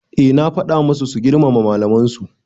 Eh na faɗa masu su girmama malaman su